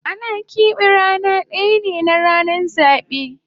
Ana kepe rana daya ne na ranan zabe